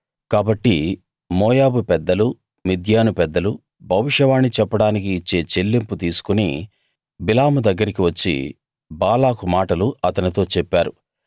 కాబట్టి మోయాబు పెద్దలు మిద్యాను పెద్దలు భవిష్యవాణి చెప్పడానికి ఇచ్చే చెల్లింపు తీసుకుని బిలాము దగ్గరికి వచ్చి బాలాకు మాటలు అతనితో చెప్పారు